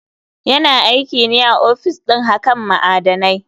Yana aikine a ofis ɗin hakan ma'adanai.